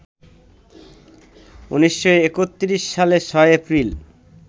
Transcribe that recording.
১৯৩১ সালের ৬ এপ্রিল